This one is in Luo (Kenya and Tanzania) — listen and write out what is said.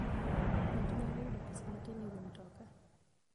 Ng'ato nyalo yudo pesa matin e wi mtoka.